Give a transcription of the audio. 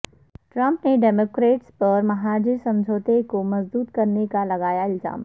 Trump نے Democrats پر مہاجر سمجھوتے کو مسدود کرنے کا لگایا الزام